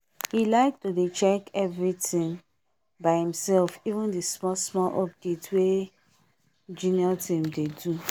he like to dey check everything by himself even the small smal update wey junior team dey do